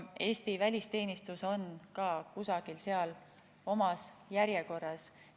Eesti välisteenistus on ka kusagil seal oma järjekorras.